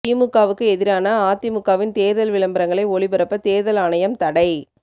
திமுகவுக்கு எதிரான அதிமுகவின் தேர்தல் விளம்பரங்களை ஒளிபரப்ப தேர்தல் ஆணையம் தடை